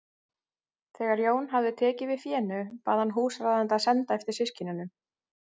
Þegar Jón hafði tekið við fénu bað hann húsráðanda að senda eftir systkinunum.